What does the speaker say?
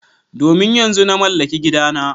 Domin yanzu na mallaki gidana.